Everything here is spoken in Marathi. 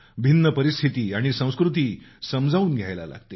भिन्न परिस्थिती आणि संस्कृती समजावून घ्यायला लागते